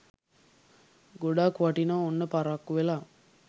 ගොඩක් වටිනවා ඔන්න පරක්කු වෙලා